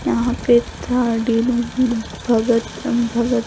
यहांँ पे थर्ड भगत-भगत--